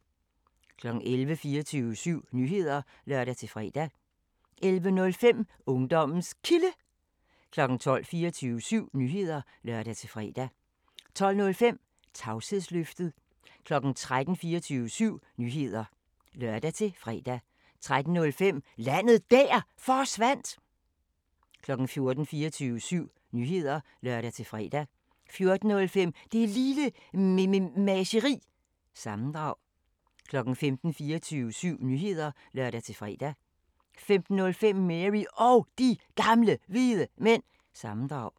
11:00: 24syv Nyheder (lør-fre) 11:05: Ungdommens Kilde 12:00: 24syv Nyheder (lør-fre) 12:05: Tavshedsløftet 13:00: 24syv Nyheder (lør-fre) 13:05: Landet Der Forsvandt 14:00: 24syv Nyheder (lør-fre) 14:05: Det Lille Mememageri – sammendrag 15:00: 24syv Nyheder (lør-fre) 15:05: Mary Og De Gamle Hvide Mænd – sammendrag